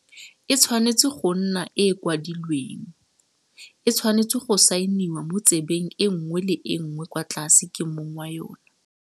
E tshwanetse go nna e e kwadilweng, e tshwanetse go saeniwa mo tsebeng e nngwe le e nngwe kwa tlase ke mong wa yona.